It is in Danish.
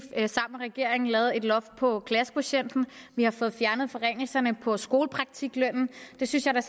sammen med regeringen lavet et loft over klassekvotienten vi har fået fjernet forringelserne på skolepraktiklønnen det synes jeg da